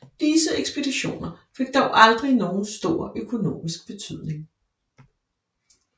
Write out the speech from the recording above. Disse ekspeditioner fik dog aldrig nogen stor økonomisk betydning